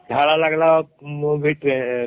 ଝାଡା ଲାଗିଲେ ବି Train ଠି